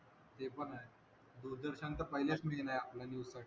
ते पण आहे दूरदर्शनचा पहिल्याच आपल्या न्यूज साठी